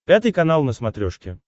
пятый канал на смотрешке